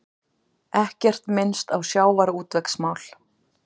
Ekkert minnst á sjávarútvegsmál